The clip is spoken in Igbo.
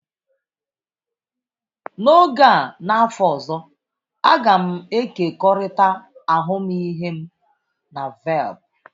N'oge a n'afọ ọzọ, a ga m ekekọrịta ahụmịhe m na Velp.